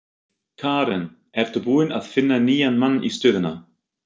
Karen: Ertu búinn að finna nýjan mann í stöðuna?